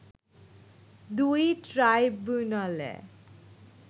দুই ট্রাইব্যুনালে